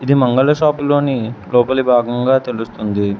ఇది మంగళ షాప్ లోని లోపలి భాగంగా తెలుస్తుంది.